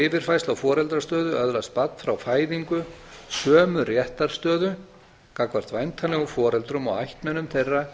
yfirfærslu á foreldrastöðu öðlast barn frá fæðingu sömu réttarstöðu gagnvart væntanlegum foreldrum og ættmennum þeirra